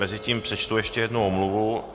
Mezitím přečtu ještě jednu omluvu.